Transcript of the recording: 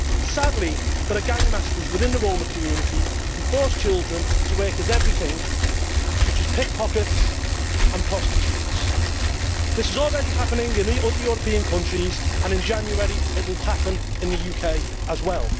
Sadly there are gangmasters within the Roma community who force children to work as everything such as pickpockets and prostitutes. This is already happening in other European countries and in January it will happen in the UK as well.